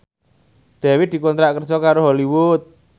Dewi dikontrak kerja karo Hollywood